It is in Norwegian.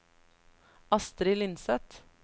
Astri Lindseth